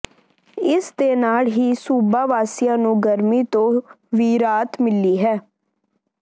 ਇਸ ਦੇ ਨਾਲ ਹੀ ਸੂਬਾ ਵਾਸੀਆਂ ਨੂੰ ਗਰਮੀ ਤੋਂ ਵੀ ਰਾਹਤ ਮਿਲੀ ਹੈ